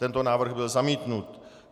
Tento návrh byl zamítnut.